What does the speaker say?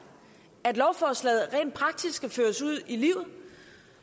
at lovforslaget rent praktisk skal føres ud i livet